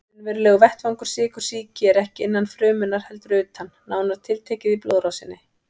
Raunverulegur vettvangur sykursýki er ekki innan frumunnar heldur utan, nánar tiltekið í blóðrásinni.